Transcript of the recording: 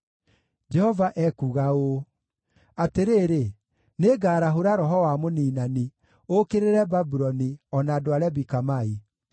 Jehova ekuuga ũũ: “Atĩrĩrĩ, nĩngarahũra roho wa mũniinani, ũũkĩrĩre Babuloni, o na andũ a Lebi-Kamai.